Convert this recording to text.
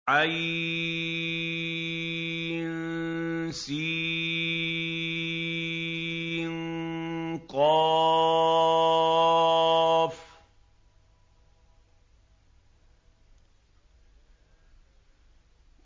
عسق